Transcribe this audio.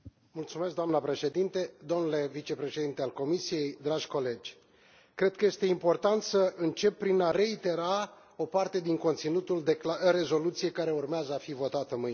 Doamnă președinte, domnule vicepreședinte al Comisiei, dragi colegi, cred că este important să încep prin a reitera o parte din conținutul rezoluției care urmează a fi votată mâine.